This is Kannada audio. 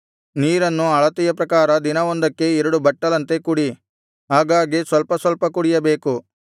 ನೀರನ್ನು ಅಳತೆಯ ಪ್ರಕಾರ ದಿನವೊಂದಕ್ಕೆ ಎರಡು ಬಟ್ಟಲಂತೆ ಕುಡಿ ಆಗಾಗ್ಗೆ ಸ್ವಲ್ಪ ಸ್ವಲ್ಪ ಕುಡಿಯಬೇಕು